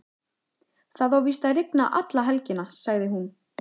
Það á víst að rigna alla helgina, sagði hún.